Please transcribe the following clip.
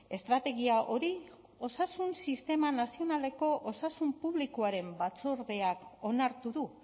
estrategia hori osasun sistema nazionaleko osasun publikoaren batzordeak onartu du